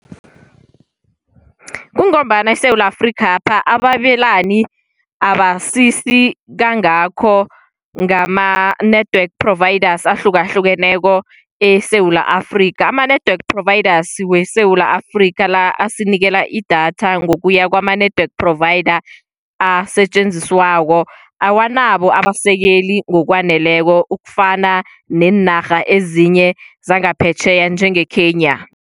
Kungombana eSewula Afrikhapha ababelelani abasisi kangakho ngama-network providers ahlukahlukeneko eSewula Afrika. Ama-network providers weSewula Afrika la asinikela idatha ngokuya kwama-network providers asetjenziswako, awanabo abasekeli ngokwaneleko ukufana neenarha ezinye zangaphetjheya njengeKenya.